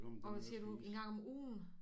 Og hvad siger du en gang om ugen